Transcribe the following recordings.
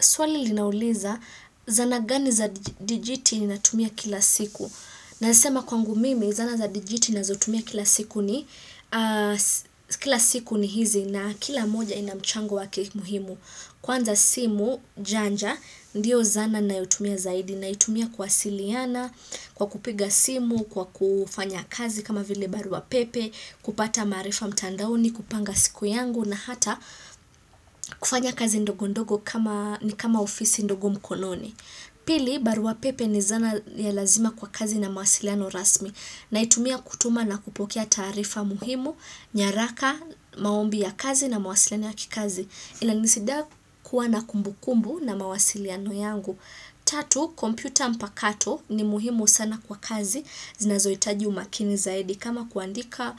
Swali linauliza zana gani za dijiti ninatumia kila siku. Nasema kwangu mimi, zana za dijiti ninazotumia kila siku ni hizi na kila moja inamchango wake muhimu. Kwanza simu, janja, ndiyo zana nayoitumia zaidi. Naitumia kuwasiliana, kwa kupiga simu, kwa kufanya kazi kama vile barua pepe, kupata maarifa mtandaoni, kupanga siku yangu na hata kufanya kazi ndogo ndogo ni kama ofisi ndogo mkononi Pili, baruapepe ni zana ya lazima kwa kazi na mawasiliano rasmi na itumia kutuma na kupokea taarifa muhimu nyaraka, maombi ya kazi na mawasiliano ya kikazi inanisaidia kuwa na kumbu kumbu na mawasiliano yangu Tatu, kompyuta mpakato ni muhimu sana kwa kazi zinazohitaji umakini zaidi kama kuandika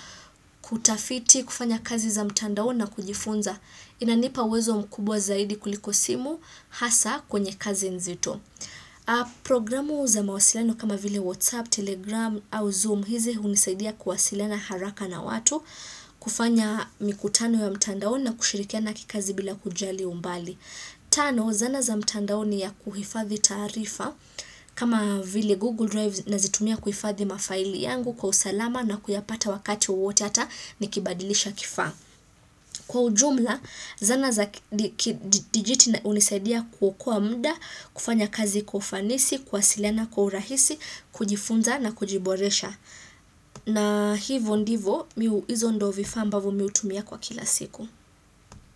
kutafiti kufanya kazi za mtandao na kujifunza Inanipa uwezo mkubwa zaidi kuliko simu hasa kwenye kazi nzito Programu za mawasilano kama vile WhatsApp, Telegram au Zoom hizi hunisaidia kuwasilana haraka na watu kufanya mikutano ya mtandao na kushirikiana kikazi bila kujali umbali Tano, zana za mtandaoni ya kuhifadhi taarifa kama vile Google Drive na zitumia kuhifadhi mafaili yangu kwa usalama na kuyapata wakati wote hata nikibadilisha kifaa kwa ujumla zana za digiti hunisaidia kukokoa mda, kufanya kazi kwa ufanisi, kuwasiliana kwa urahisi kujifunza na kujiboresha na hivo ndivo mii hizo ndo vifaa ambavo mii hu tumia kwa kila siku.